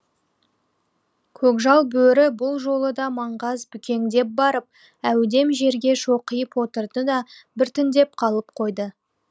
көкжал бөрі бұл жолы да маңғаз бүкеңдеп барып әудем жерге шоқиып отырды да біртіндеп қалып қойды